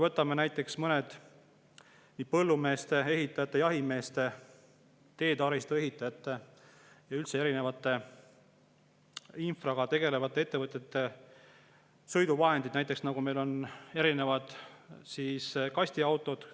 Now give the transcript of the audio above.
Võtame näiteks põllumeeste, ehitajate, jahimeeste, teetaristuehitajate ja üldse erinevate infraga tegelevate ettevõtete sõiduvahendid, erinevad kastiautod.